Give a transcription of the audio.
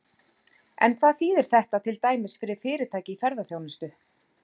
En hvað þýðir þetta til dæmis fyrir fyrirtæki í ferðaþjónustu?